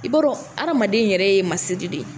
I b'a dɔn adamaden yɛrɛ ye masiri de ye